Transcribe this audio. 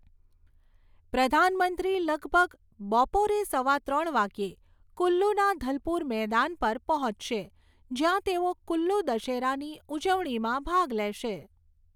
પ્રધાનમંત્રી લગભગ બપોરે સવા ત્રણ વાગ્યે કુલ્લુના ધલપુર મેદાન પર પહોંચશે, જ્યાં તેઓ કુલ્લુ દશેરાની ઉજવણીમાં ભાગ લેશે.